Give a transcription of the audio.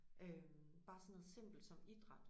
Øh bare sådan noget simpelt som idræt